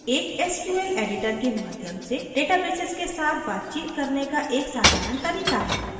एक sql editor के माध्यम से databases के साथ बातचीत करने का एक साधारण तरीका है